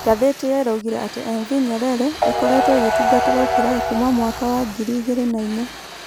Ngathĩti ĩyo ĩroigire atĩ MV Nyerere ĩkoretwo ĩgĩtungatĩra Ukerewe kuuma mwaka wa 2004.